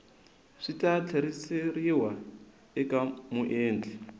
swi ta tlheriseriwa eka muendli